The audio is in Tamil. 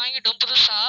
வாங்கிட்டோம் புதுசா